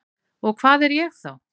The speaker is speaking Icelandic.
Og hvað er ég þá?